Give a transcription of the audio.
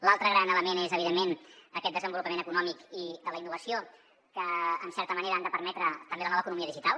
l’altre gran element és evidentment aquest desenvolupament econòmic i de la innovació que en certa manera ha de permetre també la nova economia digital